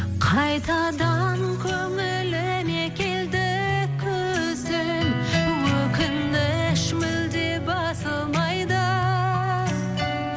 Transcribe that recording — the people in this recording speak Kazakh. қайтадан көңіліме келді күзің өкініш мүлде басылмайды